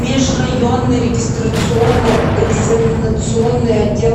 межрайонный регистрационно экзаменационный отдел